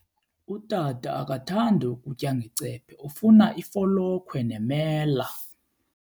Utata akathandi kutya ngecephe, ufuna ifolokhwe nemela.